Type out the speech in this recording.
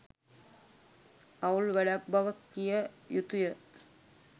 අවුල් වැඩක් බව කිය යුතුය.